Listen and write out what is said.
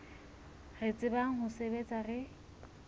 re tsebang ho sebetsa re